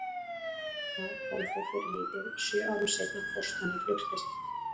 Það kom þó fyrir lítið, sjö árum seinna fórst hann í flugslysi.